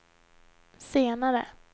senare